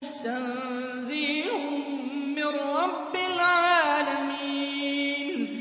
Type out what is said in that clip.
تَنزِيلٌ مِّن رَّبِّ الْعَالَمِينَ